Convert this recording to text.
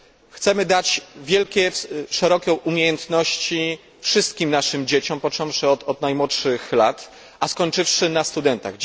Chcemy dać wielkie, szerokie umiejętności wszystkim naszym dzieciom, począwszy od najmłodszych lat, a skończywszy na studentach.